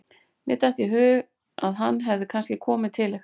Mér datt í hug að hann hefði kannski komið til ykkar.